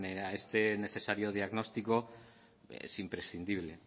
era este necesario diagnóstico es imprescindible